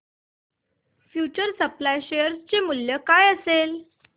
future supply share चे मूल्य काय असेल